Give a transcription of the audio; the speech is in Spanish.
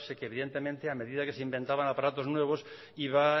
que evidentemente a medida que se inventaban aparatos nuevos iban